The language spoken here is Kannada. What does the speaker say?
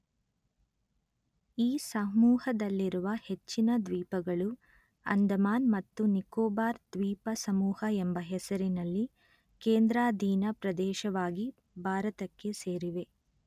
ಈ ಸಮೂಹದಲ್ಲಿರುವ ಹೆಚ್ಚಿನ ದ್ವೀಪಗಳು ಅಂಡಮಾನ್ ಮತ್ತು ನಿಕೋಬಾರ್ ದ್ವೀಪ ಸಮೂಹ ಎಂಬ ಹೆಸರಿನಲ್ಲಿ ಕೇಂದ್ರಾಧೀನ ಪ್ರದೇಶವಾಗಿ ಭಾರತಕ್ಕೆ ಸೇರಿವೆ